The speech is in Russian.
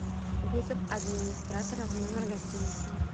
вызов администратора в номер гостиницы